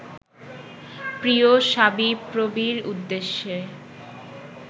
প্রিয় শাবিপ্রবির উদ্দেশে